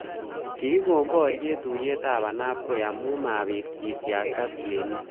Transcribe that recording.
Kikon boryet tuiyetab ainabkoi amu mabit ketyakta tienik